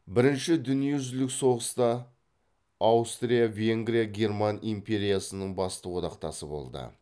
бірінші дүниежүзілік соғыста аустрия венгрия герман империясының басты одақтасы болды